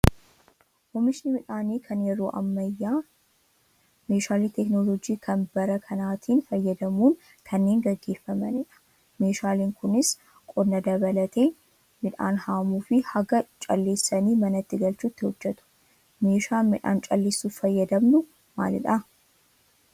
Oomishni midhaanii kan yeroo ammayyaa meeshaalee teekinooloojii kan bara kanaatiin fayyadamuun kanneen gaggeeffamanidha. Meeshaaleen kunis qonna dabalatee midhaan haamuu fi haga calleessanii manatti galchuutti hojjatu. Meeshaan midhaan calleessuuf fayyadamnu maalidhaa?